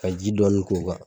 Ka ji dɔɔnin k'u kan